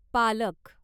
पालक